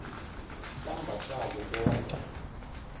samba sako konkhe